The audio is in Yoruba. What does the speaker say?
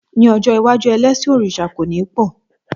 Ní ọjọ́ iwájú, elẹ́sìn òrìṣà kò ní pọ̀.